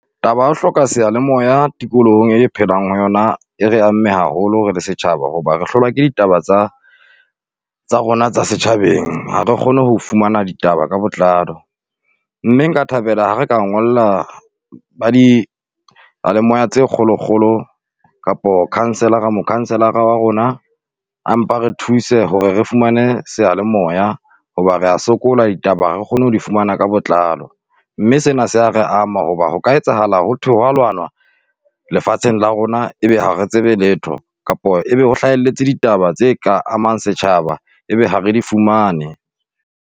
Taba ya ho hloka seyalemoya tikolohong e re phelang ho yona, e re amme haholo re le setjhaba hoba re hlolwa ke ditaba tsa, tsa rona tsa setjhabeng. Ha re kgone ho fumana ditaba ka botlalo, mme nka thabela ha re ka ngolla ba diyalemoya tse kgolokgolo kapo councillor-a, mo-councillor-a wa rona, a mpa re thuse hore re fumane seyalemoya. Hoba rea sokola ditaba ha re kgone ho di fumana ka botlalo. Mme sena se a re ama hoba hoka etsahala ho thwe ho wa lwanwa lefatsheng la rona. Ebe ha re tsebe letho, kapo ebe ho hlahelletse ditaba tse ka amang setjhaba, ebe ha re di fumane.